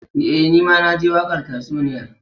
Eh, Ni ma na jiyo wakar tatsuniyar